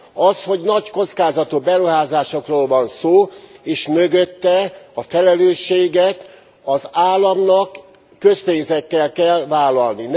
Az, hogy nagy kockázatú beruházásokról van szó, és mögötte a felelősséget az államnak, közpénzekkel kell vállalni.